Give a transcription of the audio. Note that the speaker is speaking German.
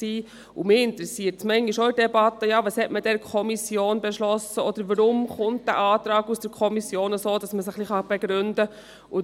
In der Debatte interessiert mich manchmal auch, was in der Kommission beschlossen wurde oder weshalb ein Antrag vonseiten der Kommission gerade so daher kommt, damit man es ein wenig begründen kann.